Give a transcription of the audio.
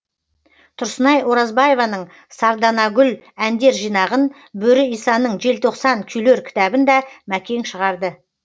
тұрсынай оразбаеваның сарданагүл әндер жинағын бөрі исаның желтоқстан күйлер кітабын да мәкең шығарды